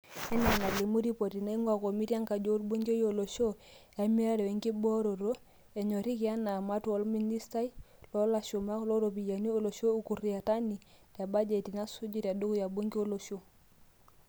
Enaa enelimu ripoti naingua komitii enkaji oolbungei olosho e mirare wenkitobira, enyoriki ena matua olministai loolashumak looropiyiani olosho Ukur Yatani te bajeti nasuju, tedukuya bungee olosho.